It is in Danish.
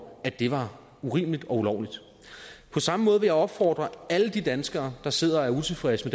at det var urimeligt og ulovligt på samme måde vil jeg opfordre alle de danskere der sidder og er utilfredse